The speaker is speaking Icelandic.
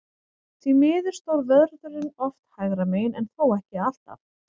Því miður stóð vörðurinn oft hægra megin, en þó ekki alltaf.